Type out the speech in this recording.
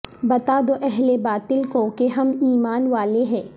بتا دو اہل باطل کو کہ ہم ایمان والے ہیں